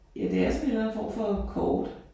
Ja det er sådan et eller andet form for kort